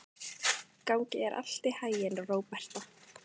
Gangi þér allt í haginn, Róberta.